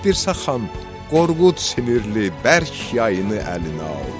Dirsə xan, Qorqud sinirli, bərk yayını əlinə aldı.